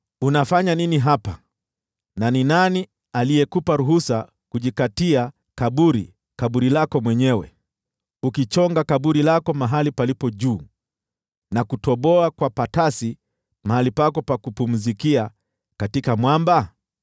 Unafanya nini hapa, na ni nani aliyekupa ruhusa kujikatia kaburi lako mwenyewe, ukichonga kaburi lako mahali palipo juu, na kutoboa kwa patasi mahali pako pa kupumzikia katika mwamba?